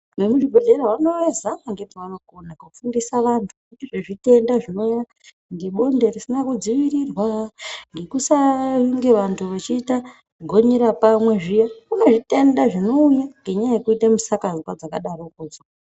Emuzvibhedhlera anozama ngepavanokona kufundise antu kuti zvezvitenda zvino ngebonde risina kudziirirwa ngekusaa nge vanhu vachiita gonyera pamwe zviya kune zvitenda zvinouya ngenyaya yekuite musikazwa dzakadarokwodzo.